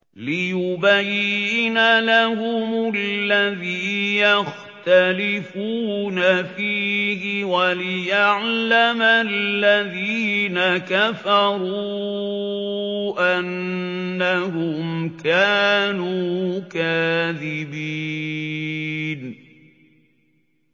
لِيُبَيِّنَ لَهُمُ الَّذِي يَخْتَلِفُونَ فِيهِ وَلِيَعْلَمَ الَّذِينَ كَفَرُوا أَنَّهُمْ كَانُوا كَاذِبِينَ